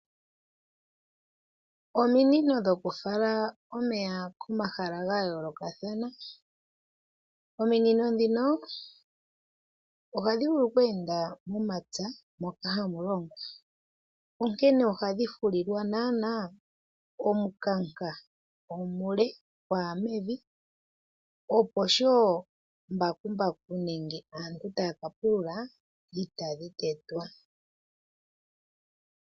Ominino dhokufala omeya komahala ga yolokathana. Ominino dhino ohadhi vulu okuyenda momapya, moka hamu longwa, onkene ohadhi fulilwa nana omukanka omule, gwaya mevi, opo sho mbakumbaku nenge aantu taya ka pulula itadhi tetwa.